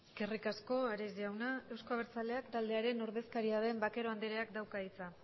eskerrik asko ares jauna euzko abertzaleak taldearen ordezkaria den vaquero andreak dauka hitza